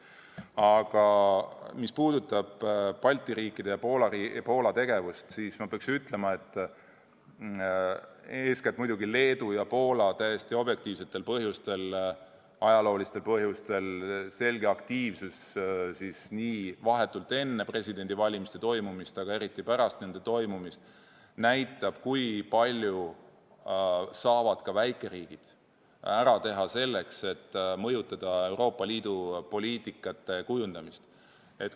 Aga mis puudutab Balti riikide ja Poola tegevust, siis ma pean ütlema, et eeskätt muidugi Leedu ja Poola täiesti objektiivsetel, ajaloolistel põhjustel ilmutatav selge aktiivsus vahetult enne presidendivalimiste toimumist ja eriti pärast nende toimumist näitab, kui palju saavad ka väikeriigid ära teha selleks, et mõjutada Euroopa Liidu poliitikate kujundamist.